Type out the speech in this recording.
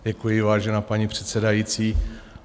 Děkuji, vážená paní předsedající.